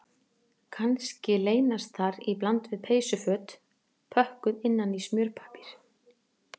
Kannski leynast þar í bland við peysuföt pökkuð innan í smjörpappír